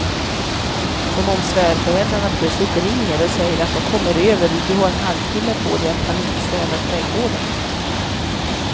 Som om svärföräldrarna plötsligt ringer och säger att de kommer över och du har en halvtimme på dig att panikstäda trädgården.